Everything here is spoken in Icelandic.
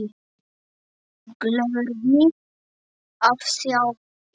Gleður mig að sjá yður.